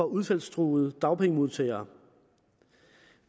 udfaldstruede dagpengemodtagere